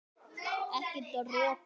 Ekki dropa.